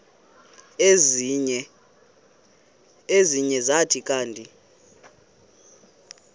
ezinye zathi kanti